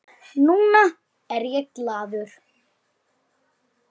Núna er ég glaður.